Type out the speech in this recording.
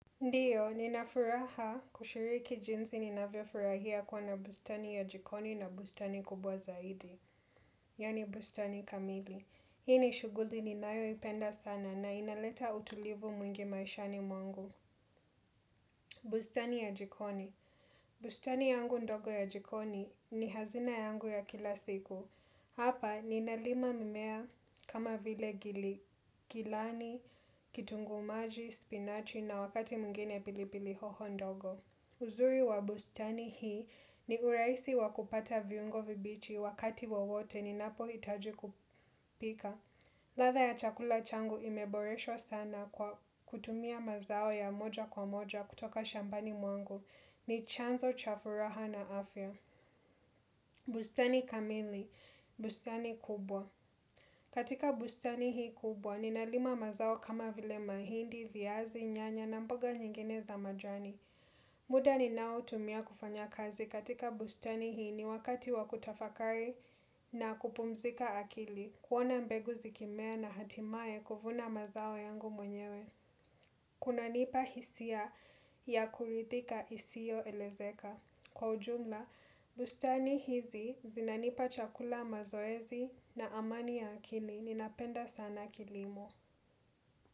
Ndiyo, ninafuraha kushiriki jinsi ninavyofurahia kuwa na bustani ya jikoni na bustani kubwa zaidi. Yani bustani kamili. Hii ni shughuli ninayo ipenda sana na inaleta utulivu mwingi maishani mwangu. Bustani ya jikoni. Bustani yangu ndogo ya jikoni ni hazina yangu ya kila siku. Hapa, ninalima mimea kama vile gilani, kitunguu maji, spinachi na wakati mwngine pili pili hoho ndogo. Uzuri wa bustani hii ni uraisi wakupata viungo vibichi wakati wowote ninapo hitaji kupika. Latha ya chakula changu imeboreshwa sana kutumia mazao ya moja kwa moja kutoka shambani mwangu ni chanzo chafuraha na afya. Bustani kamili, bustani kubwa. Katika bustani hii kubwa, ninalima mazao kama vile mahindi, viazi, nyanya na mboga nyingine za majani. Muda ninao tumia kufanya kazi katika bustani hii ni wakati wakutafakari na kupumzika akili. Kuona mbegu zikimea na hatimaye kufuvana mazao yangu mwenyewe. Kuna nipahisia ya kurithika isio elezeka. Kwa ujumla, bustani hizi zinanipa chakula mazoezi na amani ya akili ninapenda sana kilimo.